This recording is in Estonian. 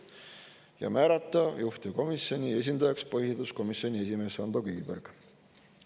Ja määrata juhtivkomisjoni esindajaks põhiseaduskomisjoni esimees Ando Kiviberg.